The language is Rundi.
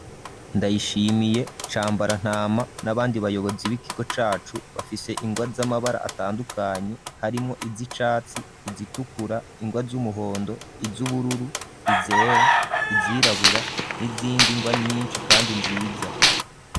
Ndayishimiye, Cambarantama n'abandi bayobozi b'ikigo cacu bafise ingwa z'amabara atandukanye harimwo izicatsi izitukura ingwa z'umuhondo izubururu izera izirabura n'izindi ngwa nyishi kandi nziza.